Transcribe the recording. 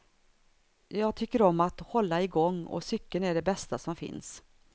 Jag tycker om att hålla igång och cykeln är det bästa som finns.